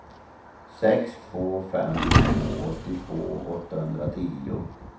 sex två fem två åttiotvå åttahundratio